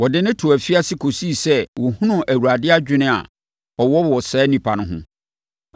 Wɔde no too afiase kɔsii sɛ wɔhunuu Awurade adwene a ɔwɔ wɔ saa onipa no ho.